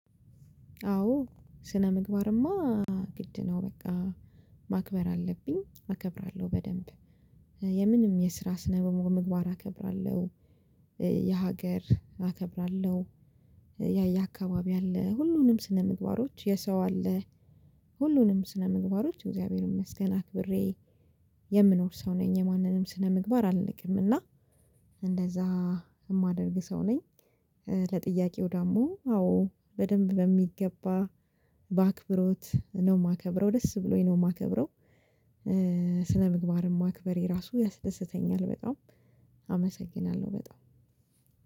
አዎ ስነምግባርማ ግድ ነው። በቃ ማክበር አለብኝ አከብራለሁ በደንብ የምንም የስራ ስነ ምግባር አከብራለሁ። የሀገር አከብራለሁ ያ ያ አካባቢ አለ። ሁሉንም ስነ ምግባሮች የሰው አለ። ሁሉንም ስነምግባሮች እግዚአብሔር ይመስገን አክብሬ የምኖር ሰው ነኝ። የማንንም ስነምግባር አልነቅም እና እንደዛ የማደርግ ሰው ነኝ። ለጥያቄው ደግሞ አዎ በደንብ በሚገባ በአክብሮት ነው የማከብረው ደስ ብሎኝ ነው የማከብረው። ስለምግባርም ማክበሬ ራሱ ያስደስተኛል በጣም አመሰግናለሁ በጣም።